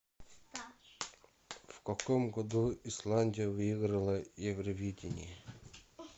в каком году исландия выиграла евровидение